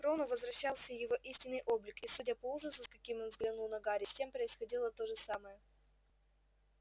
к рону возвращался его истинный облик и судя по ужасу с каким он взглянул на гарри с тем происходило то же самое